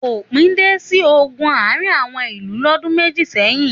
Òpin dé sí ogun àárín àwọn ìlú lọ́dún méjì sẹ́yìn.